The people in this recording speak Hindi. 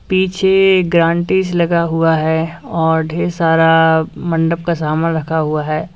पीछे गारंटीस लगा हुआ है और ढेर सारा मंडप का सामान रखा हुआ है।